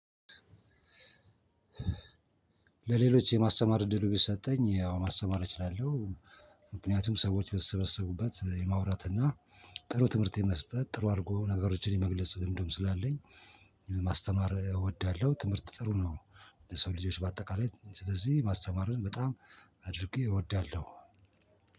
ለሌሎች የማስተማር እድሉ ቢሰጠኝ ያው ማስተማር እችላለሁ። ምክንያቱም ሰዎች በተሰበሰቡበት የማውራት እና ጥሩ ትምህርት የመስጠት ጥሩ አድርጎ ነገሮችን የመግለጽ ልምድም ስላለኝ፤ ማስተማር እወዳለሁ ትምህርት ጥሩ ነው ለሰው ልጆች በአጠቃላይ ስለዚህ ማስተማርን በጣም አድርጌ እወዳለሁ።